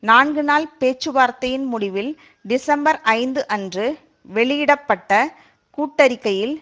நான்கு நாள் பேச்சுவார்த்தையின் முடிவில் டிசம்பர் ஐந்து அன்று வெளியிட பட்ட கூட்டறிக்கையில்